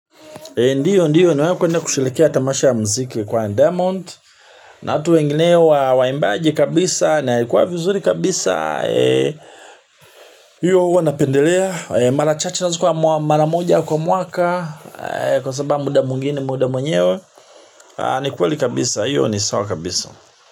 Ndiyo, ndiyo, nwenye kushilekea tamasha ya mziki kwa ndiamond. Na atu wengineo wa waimbaji kabisa, na kwa vizuri kabisa. Hiyo uwa napendelea, mara chache nazuko wa mara moja kwa mwaka. Kwa sababa muda mwingine, muda mwenyewe. Nikweli kabisa, hiyo ni sawa kabisa.